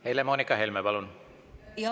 Helle-Moonika Helme, palun!